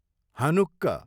Hanukkah